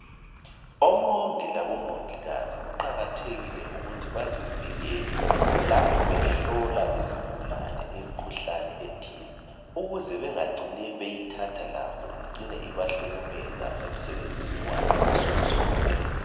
Omongi labo mongikazi kuqakathekile ukuthi bazivikele lapho behlola izigulane imikhuhlane ethile, ukuze bengacini beyithatha labo icine ibahlukumeza emsebenzini wabo wansukuzonke.